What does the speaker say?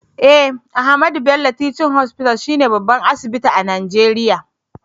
Eh, Ahmadu Bello Teaching hospital she ne babban asibiti a nageria.